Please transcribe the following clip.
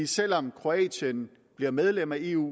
selv om kroatien bliver medlem af eu